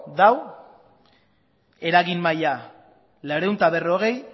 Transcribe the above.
dago eragin maila laurehun eta berrogei